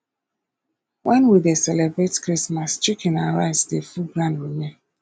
when we dey celebrate christmas chicken and rice dey full ground remain